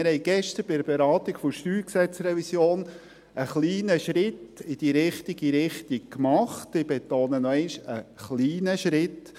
Wir haben gestern bei der Beratung der StG-Revision einen kleinen Schritt in die richtige Richtung unternommen, ich betone: einen kleinen Schritt.